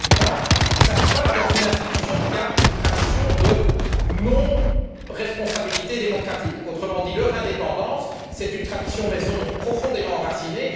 Deuxième point nous avons affaire à une institution qui a une tradition de non responsabilité démocratique, autrement dit dans laquelle l'indépendance est une tradition maison profondément enracinée.